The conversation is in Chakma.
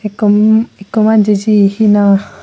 ikko umm ikko manje jiye hina.